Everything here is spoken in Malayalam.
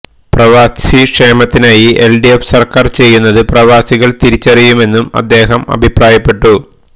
പ്രവാസി ക്ഷേമത്തിനായി എൽഡിഎഫ് സർക്കാർ ചെയ്യുന്നത് പ്രവാസികൾ തിരിച്ചറിയുമെന്നും അദ്ദേഹം അഭിപ്രായപ്പെട്ടു